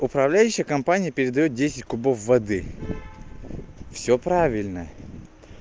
управляющая компания передаёт десять кубов воды всё правильно